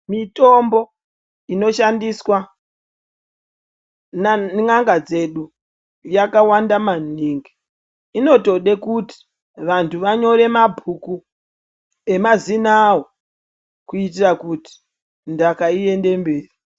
Mitombo inoshandiswea nan'anga dzedu yakawanda maningi. Inotode kuti vantu vanyore mabhuku emazina awo kuitira kuti ntaka iende mberi.